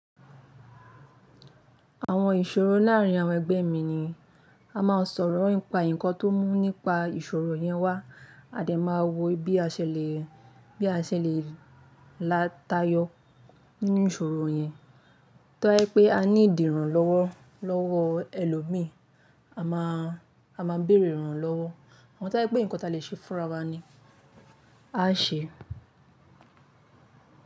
Àwọn ìṣòro láàárín àwọn ẹgbẹ́ mi ni a máa sọ̀rọ̀ ípa nǹkan tó mú nípa ìṣòro yẹn wá. A dẹ̀ máa wo bí a ṣe le, bí a ṣe le lá tayọ nínú ìṣòro yẹn. Tọ́ ba ye pé a need i irànlọ́wọ́ lọ́wọ́ ẹlòmíì, a máa, a máa bèrè ìrànlọ́wọ́. Àmo tó ye i pé nǹkan ta lè ṣe fúnra wa ni á ṣe.